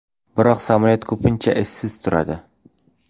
Biroq samolyot ko‘pincha ishsiz turadi.